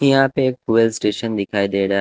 यहां पे एक ट्वेल्व स्टेशन दिखाई दे रहा है।